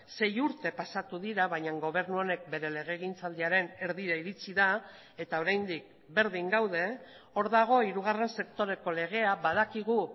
sei urte pasatu dira baina gobernu honek bere legegintzaldiaren erdira iritsi da eta oraindik berdin gaude hor dago hirugarren sektoreko legea badakigu